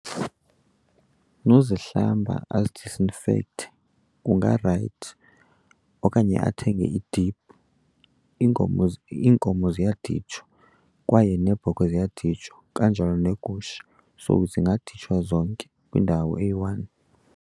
Nozihlamba azidisinfekthe kungarayithi okanye athenge idiphu. Iinkomo , iinkomo ziyaditshwa kwaye neebhokhwe ziyaditshwa kanjalo neegusha. So zingaditshwa zonke kwindawo eyi-one.